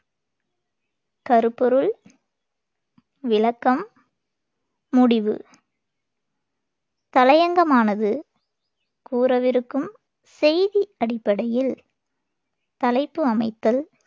கருப்பொருள் விளக்கம் முடிவு தலையங்கமானது கூறவிருக்கும் செய்தி அடிப்படையில் தலைப்பு அமைத்தல்,